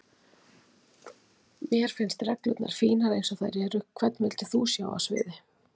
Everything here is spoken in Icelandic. Mér finnst reglurnar fínar eins og þær eru Hvern vildir þú sjá á sviði?